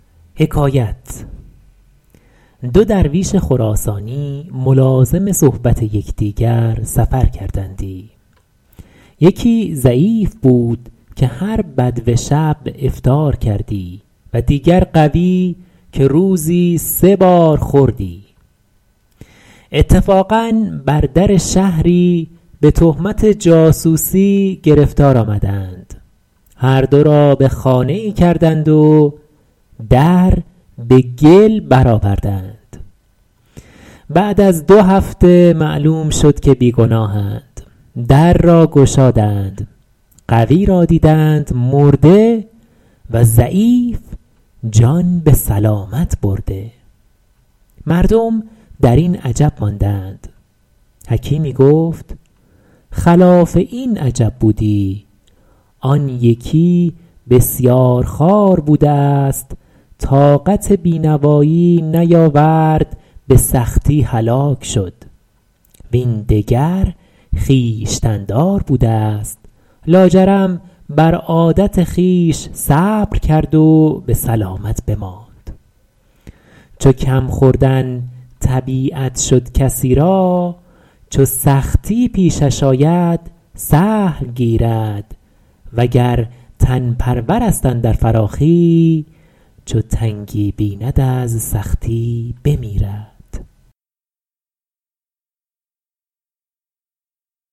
دو درویش خراسانی ملازم صحبت یکدیگر سفر کردندی یکی ضعیف بود که هر به دو شب افطار کردی و دیگر قوی که روزی سه بار خوردی اتفاقا بر در شهری به تهمت جاسوسی گرفتار آمدند هر دو را به خانه ای کردند و در به گل برآوردند بعد از دو هفته معلوم شد که بی ‎گناهند در را گشادند قوی را دیدند مرده و ضعیف جان به سلامت برده مردم در این عجب ماندند حکیمی گفت خلاف این عجب بودی آن یکی بسیارخوار بوده است طاقت بی ‎نوایی نیاورد به سختی هلاک شد وین دگر خویشتن ‎دار بوده است لاجرم بر عادت خویش صبر کرد و به سلامت بماند چو کم ‎خوردن طبیعت شد کسی را چو سختی پیشش آید سهل گیرد وگر تن ‎پرور است اندر فراخی چو تنگی بیند از سختی بمیرد